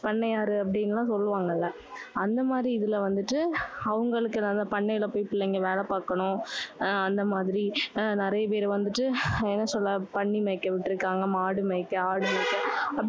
பண்ணையாரு அப்படின்னு எல்லாம் சொல்லுவாங்கல்ல. அந்த மாதிரி இதுல வந்துட்டு, அவங்களுக்கு அந்த பண்ணையில போயி அந்த பிள்ளைங்க வேலை பாக்கணும். ஆஹ் அந்த மாதிரி, அஹ் நிறைய பேரு வந்துட்டு, என்ன சொல்ல? பன்னி மேய்க்க விட்டிருக்காங்க. மாடு மேய்க்க, ஆடு மேய்க்க